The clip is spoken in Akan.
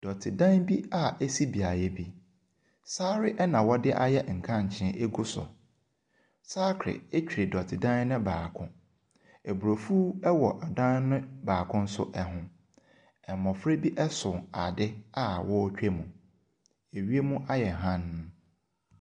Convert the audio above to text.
Dɔte dan bi a esi beaeɛ bi. Saare na ɔdeayɛ nkankyee ɛgu so. Sakre ɛtwere dɔte dan no baako. Abrofuo ɛwɔ dan no nso baako ɛho. Mmɔfra bi ɛso ade a ɔretwa mu. Ɛwiam ayɛ hann.